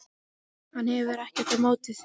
Hann hefur ekkert á móti því.